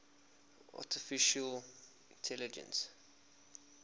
artificial intelligence